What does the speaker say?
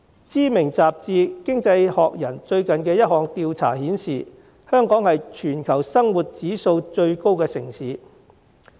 知名雜誌《經濟學人》最近一項調查顯示，香港是全球生活指數最高的城市。